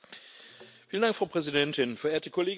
Frau Präsidentin, verehrte Kolleginnen und Kollegen!